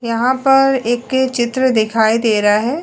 यहां पर एक चित्र दिखाई दे रहा है।